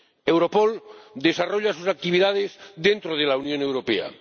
Europol desarrolla sus actividades dentro de la Unión Europea.